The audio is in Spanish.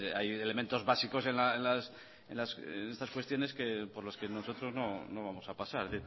hay elementos básicos en estas cuestiones por los que nosotros no vamos a pasar